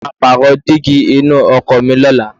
Mo máa pààrọ̀ dígí inú ọkọ̀ mi lọ́la.